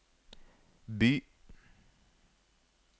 by